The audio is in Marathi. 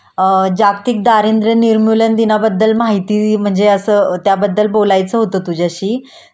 अ जागतिक दारिंद्र्य नीरमुलन दिनाबद्दल माहिती म्हणजे असं त्याबद्दल बोलायचं होत तुझ्याशी